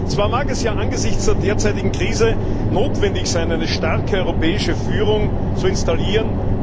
Zwar mag es ja angesichts der derzeitigen Krise notwendig sein, eine starke europäische Führung zu installieren.